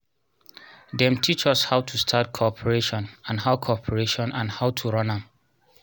them teach us how to start cooperation and how cooperation and how to run am